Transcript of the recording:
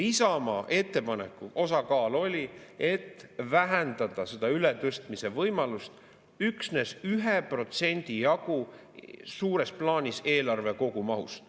Isamaa ettepanek oli, et vähendada seda ületõstmise võimalust üksnes 1% jagu suures plaanis eelarve kogumahust.